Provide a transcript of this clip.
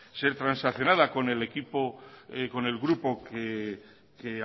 ser transaccionada con el equipo con el grupo que